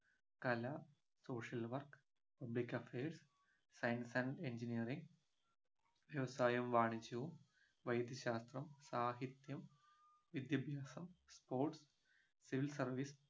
കല social work public affairs science and engineering വ്യവസായവും വാണിജ്യവും വൈദ്യശാസ്ത്രം സാഹിത്യം വിദ്യാഭ്യാസം sports civil service